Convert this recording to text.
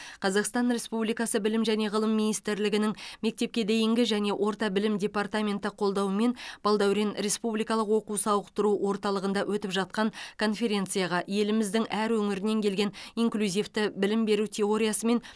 қазақстан республикасы білім және ғылым министрлігінің мектепке дейінгі және орта білім департаментінің қолдауымен балдәурен республикалық оқу сауықтыру орталығында өтіп жатқан конференцияға еліміздің әр өңірінен келген инклюзивті білім беру теориясымен